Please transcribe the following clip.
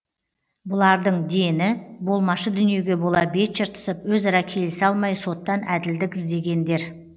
бұлардың дені болмашы дүниеге бола бет жыртысып өзара келісе алмай соттан әділдік іздегендер